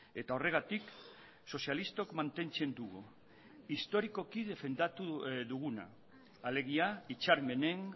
eta horregatik sozialistok mantentzen dugu historikoki defendatu duguna alegia hitzarmenen